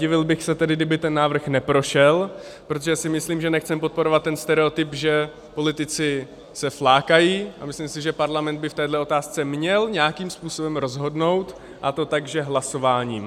Divil bych se tedy, kdyby ten návrh neprošel, protože si myslím, že nechceme podporovat ten stereotyp, že politici se flákají, a myslím si, že Parlament by v téhle otázce měl nějakým způsobem rozhodnout, a to tak, že hlasováním.